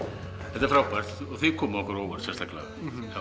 þetta er frábært og þið komuð okkur á óvart sérstaklega